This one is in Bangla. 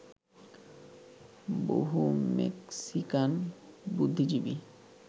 বহু মেক্সিকান বুদ্ধিজীবী